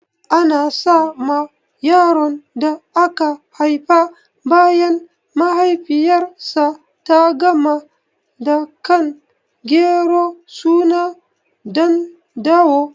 Ana sa ma yaron da aka haifa bayan mahaifiyar sa ta gama dakan gero suna Ɗandawo